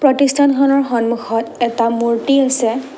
প্ৰতিষ্ঠানখনৰ সন্মুখত এটা মূৰ্ত্তি আছে।